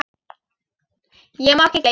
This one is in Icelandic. Ég má ekki gleyma honum.